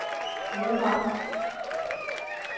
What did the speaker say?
hovedparten